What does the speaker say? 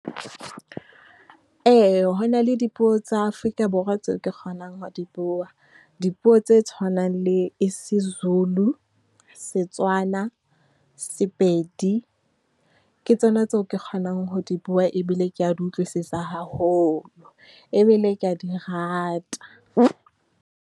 Ee, ho na le dipuo tsa Afrika Borwa tseo ke kgonang ho di bua. Dipuo tse tshwanang le isiZulu, Setswana, Sepedi. Ke tsona tseo ke kgonang ho di bua ebile ke ya di utlwisisa haholo, ebile ke ya di rata.